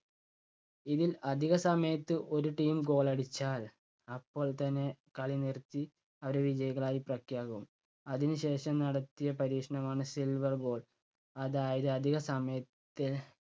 ഇതിൽ അധിക സമയത്ത് ഒരു team goal അടിച്ചാൽ അപ്പോൾ തന്നെ കളി നിർത്തി അവരെ വിജയികളായി പ്രഖ്യാപിക്കും. അതിന് ശേഷം നടത്തിയ പരീക്ഷണമാണ് silver goal അതായത് അധിക സമയ~ത്തിൽ